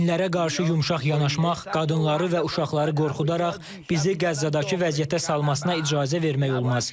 Xainlərə qarşı yumşaq yanaşmaq, qadınları və uşaqları qorxudaraq bizi Qəzzadakı vəziyyətə salmasına icazə vermək olmaz.